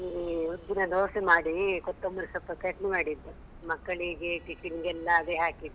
ಈ ಉದ್ದಿನ ದೋಸೆ ಮಾಡಿ ಕೊತ್ತೊಂಬರಿ ಸೊಪ್ಪು ಚಟ್ನಿ ಮಾಡಿದ್ದೆ. ಮಕ್ಕಳಿಗೆಲ್ಲ tiffin ಗೆಲ್ಲ ಅದೇ ಹಾಕಿದ್ದು.